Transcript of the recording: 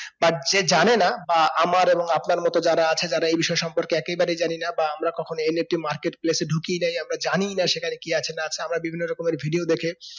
তার যে জানে না বা আমার এবং আপনার মতো যারা আসছে যারা এই বিষয়টা সম্পর্কে একেবারে জানি না বা আমরা কখন NFTmarket place এ ঢুকিয়ে দেয় আমরা জানি না সেকানে কি আছে না আছে আমরা বিভিন্ন রকমের video দেখে